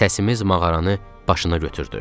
Səsimiz mağaranı başına götürdü.